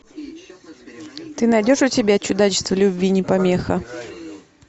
ты найдешь у себя чудачество любви не помеха